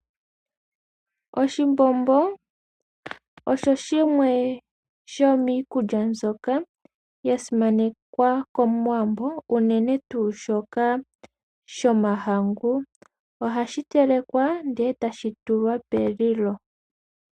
Oshimbombo osho shimwe shomiikulya mbyoka yasimanekwa komuwambo unene tuu shoka shomahangu. Ohashi telekwa nde tashi tulwa pelilo.